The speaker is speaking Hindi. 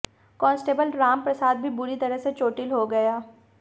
कांस्टेबल राम प्रसाद भी बुरी तरह से चोटिल हो गया